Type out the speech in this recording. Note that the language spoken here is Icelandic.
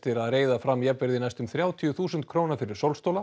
að reiða fram jafnvirði næstum þrjátíu þúsund króna fyrir